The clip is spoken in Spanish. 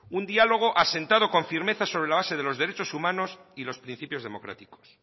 un diálogo asentado con firmeza sobre la base de los derechos humanos y los principios democráticos